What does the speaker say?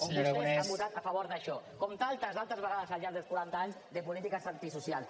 on vostès han votat a favor d’això com tantes altres vegades al llarg dels quaranta anys de polítiques antisocials